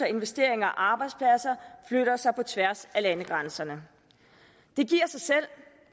investeringer og arbejdspladser flytter sig på tværs af landegrænserne det giver sig selv